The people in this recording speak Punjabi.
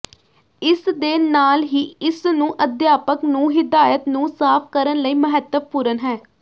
ਇਸ ਦੇ ਨਾਲ ਹੀ ਇਸ ਨੂੰ ਅਧਿਆਪਕ ਨੂੰ ਹਿਦਾਇਤ ਨੂੰ ਸਾਫ ਕਰਨ ਲਈ ਮਹੱਤਵਪੂਰਨ ਹੈ